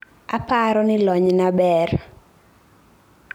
Aparo ni lonyna ber